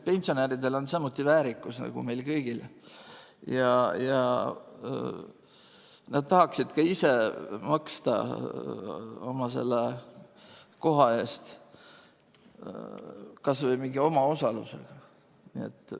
Pensionäridel on samuti väärikus nagu meil kõigil ja nad tahaksid ka ise maksta selle koha eest, kas või mingi omaosaluse.